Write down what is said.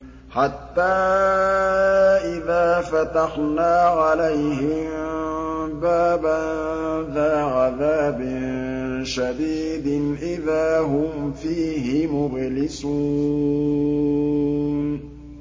حَتَّىٰ إِذَا فَتَحْنَا عَلَيْهِم بَابًا ذَا عَذَابٍ شَدِيدٍ إِذَا هُمْ فِيهِ مُبْلِسُونَ